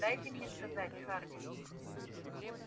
дайте мне сказать хардин